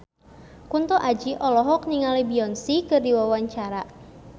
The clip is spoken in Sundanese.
Kunto Aji olohok ningali Beyonce keur diwawancara